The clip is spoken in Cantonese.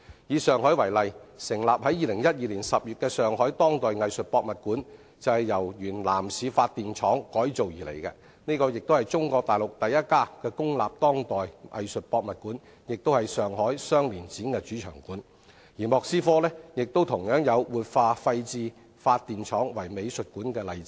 以上海為例，成立於2012年10月的上海當代藝術博物館，便是由原南市發電廠改造而來，這是中國大陸第一家公立當代藝術博物館，也是上海雙年展主場館，而莫斯科亦有活化廢置發電廠為美術館的例子。